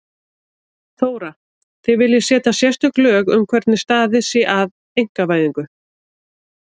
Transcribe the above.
Þóra: Þið viljið setja sérstök lög um hvernig staðið sé að einkavæðingu?